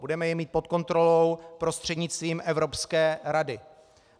Budeme je mít pod kontrolou prostřednictvím Evropské rady.